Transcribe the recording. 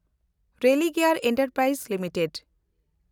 Religare enterprise limited